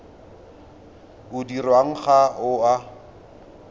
o dirwang ga o a